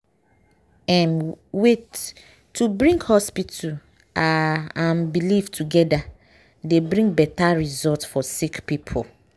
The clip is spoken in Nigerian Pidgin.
um wait- to bring hospital are and belief togeda dey bring beta result for sick poeple.